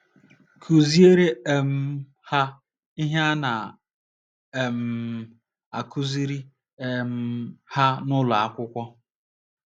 Kụziere um ha ihe a na - um akụziri um ha n’ụlọ akwụkwọ.